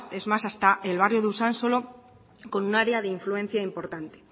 es más hasta el barrio de usansolo con un área de influencia importante